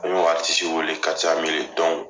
A y'o wele